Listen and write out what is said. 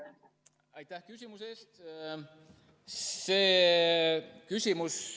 Aitäh küsimuse eest!